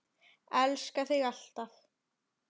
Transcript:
Elska þig alltaf.